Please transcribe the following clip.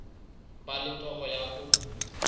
ba le toro ya ho